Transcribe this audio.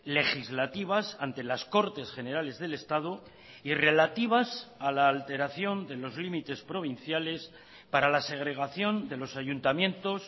legislativas ante las cortes generales del estado y relativas a la alteración de los límites provinciales para la segregación de los ayuntamientos